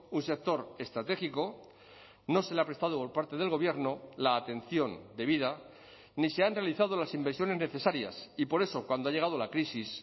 un sector estratégico no se le ha prestado por parte del gobierno la atención debida ni se han realizado las inversiones necesarias y por eso cuando ha llegado la crisis